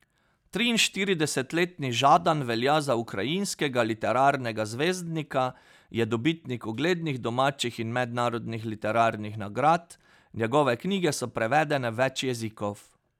Triinštiridesetletni Žadan velja za ukrajinskega literarnega zvezdnika, je dobitnik uglednih domačih in mednarodnih literarnih nagrad, njegove knjige so prevedene v več jezikov.